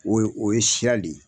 O o ye sira le ye.